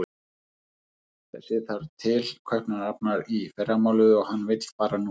Þessi þarf til Kaupmannahafnar í fyrramálið og hann vill fara núna.